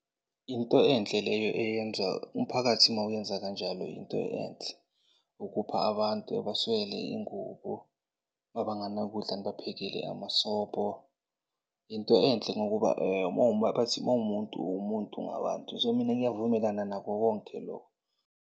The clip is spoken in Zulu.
Into enhle leyo eyenza, umphakathi mawuyenza kanjalo into enhle ukupha abantu abaswele iy'ngubo, mabanganakudla nibaphekele amasobho. Into enhle ngokuba bathi mawumuntu, uwumuntu ngabantu. So, mina ngiyavumelana nako konke loko.